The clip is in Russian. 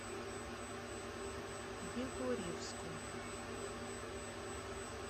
егорьевску